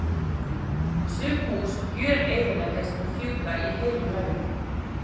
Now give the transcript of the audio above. Sum hús gjöreyðileggjast og fjúka í heilu lagi.